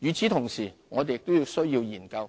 與此同時，我們亦需研究